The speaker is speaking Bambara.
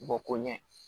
Bɔ ko ɲɛ